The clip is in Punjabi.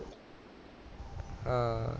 ਹਾਂ